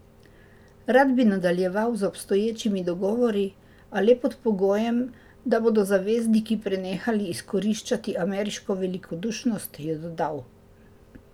Rad bi nadaljeval z obstoječimi dogovori, a le pod pogojem, da bodo zavezniki prenehali izkoriščati ameriško velikodušnost, je dodal.